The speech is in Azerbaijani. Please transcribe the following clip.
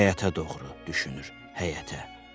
Həyətə doğru düşünür həyətə.